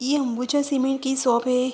ये अंबुजा सीमेंट की सौप है।